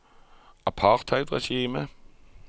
apartheidregimet